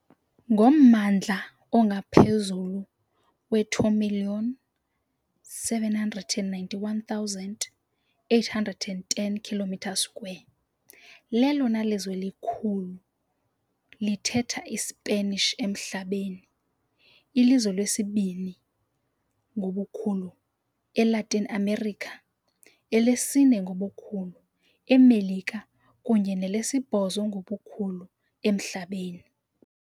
Ngommandla ongaphezulu we2 791 810 km², lelona lizwe likhulu lithetha iSpanish emhlabeni, ilizwe lesibini ngobukhulu eLatin America, elesine ngobukhulu eMelika kunye nelesibhozo ngobukhulu emhlabeni.